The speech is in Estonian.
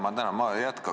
Ma tänan!